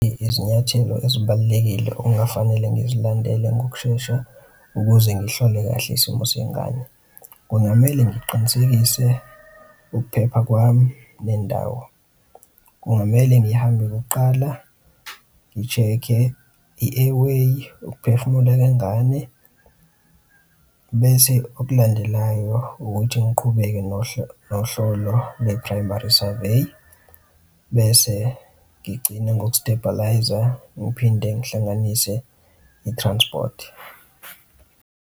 Izinyathelo ezibalulekile okungafanele ngizilandele ngokushesha ukuze ngihlole kahle isimo sengane kungamele ngiqinisekise ukuphepha kwami nendawo. Kungamele ngihambe kuqala ngi-check-e i-air way ukuphefumula kwengane, bese okulandelayo ukuthi ngiqhubeke nohlolo le-primary survey, bese ngigcine ngoku-stabilise-a ngiphinde ngihlanganise i-transport.